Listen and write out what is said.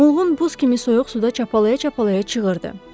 Mılğın buz kimi soyuq suda çapalaya-çapalaya çığırdı.